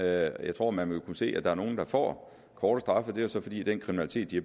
jeg tror at man vil kunne se at der er nogle der får korte straffe det er så fordi den kriminalitet de